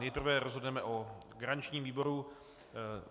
Nejprve rozhodneme o garančním výboru.